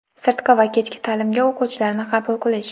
sirtqi va kechki ta’limga o‘quvchilarni qabul qilish:.